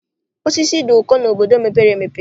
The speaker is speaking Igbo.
Osisi dị ụkọ n'obodo mepere emepe.